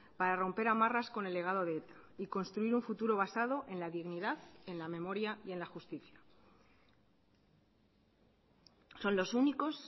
para romper amarras con el legado de eta y construir un futuro basado en la dignidad en la memoria y en la justicia son los únicos